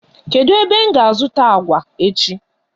Kedu ebem ga azuta agwa echi?